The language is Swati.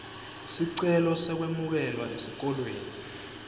sicelo sekwemukelwa esikolweni